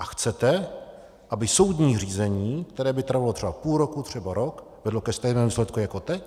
A chcete, aby soudní řízení, které by trvalo třeba půl roku, třeba rok, vedlo ke stejnému výsledku jako teď?